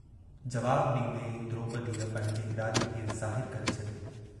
जवाबु ॾींदे द्रोपदीअ पंहिंजे इरादे खे जाहिरु करे छॾियो हो।